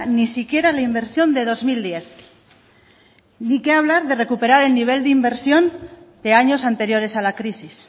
ni siquiera la inversión del dos mil diez ni qué hablar de recuperar el nivel de inversión de años anteriores a la crisis